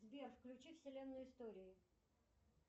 сбер включи вселенную истории